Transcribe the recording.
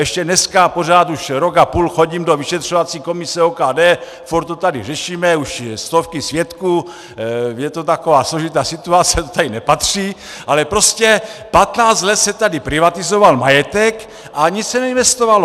Ještě dneska pořád, už rok a půl chodím do vyšetřovací komise OKD, furt to tady řešíme, už stovky svědků, je to taková složitá situace, to tady nepatří, ale prostě 15 let se tady privatizoval majetek a nic se neinvestovalo.